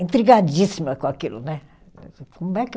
Intrigadíssima com aquilo, né? Como é que